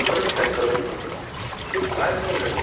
खरंच काही कळत नाही आहे की काय चालू आहे.